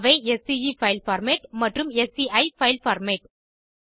அவை ஸ்கே file format மற்றும் ஸ்சி பைல் பார்மேட்